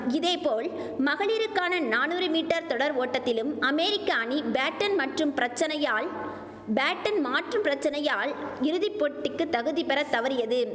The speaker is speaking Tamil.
இதேபோல் மகளிருக்கான நானூறு மீட்டர் தொடர் ஓட்டத்திலும் அமேரிக்க அணி பேட்டன் மாற்றும் பிரச்சனையால் பேட்டன் மாற்று பிரச்சனையால் இறுதி போட்டிக்கு தகுதி பெற தவறியது